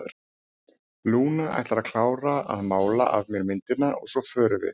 Lúna ætlar að klára að mála af mér myndina og svo förum við.